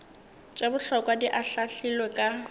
tše bohlokwa di ahlaahlilwe ka